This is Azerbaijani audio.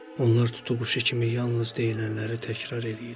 Onlar tutuquşu kimi yalnız deyilənləri təkrar eləyirlər.